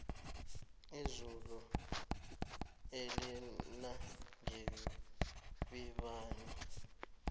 izulu elinangebibani